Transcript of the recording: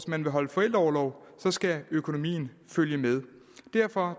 man vil holde forældreorlov skal økonomien følge med derfor